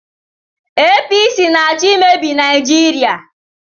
APC na-achọ imebi Naijiria.